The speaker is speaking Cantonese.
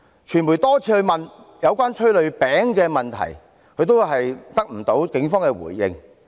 傳媒多次詢問有關煙霧餅的問題，也得不到警方回應。